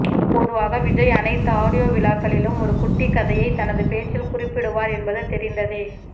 பொதுவாக விஜய் அனைத்து ஆடியோ விழாக்களிலும் ஒரு குட்டி கதையை தனது பேச்சில் குறிப்பிடுவார் என்பது தெரிந்ததே